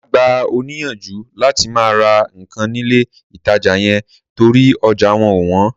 Màá gbà ọ́ níyànjú láti má ra nǹkan nílé ìtajà yẹn torí ọjà wọn wọ́n